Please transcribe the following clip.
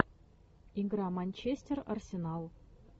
игра манчестер арсенал